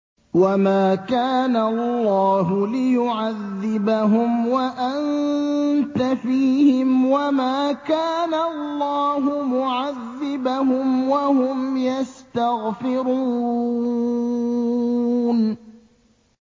وَمَا كَانَ اللَّهُ لِيُعَذِّبَهُمْ وَأَنتَ فِيهِمْ ۚ وَمَا كَانَ اللَّهُ مُعَذِّبَهُمْ وَهُمْ يَسْتَغْفِرُونَ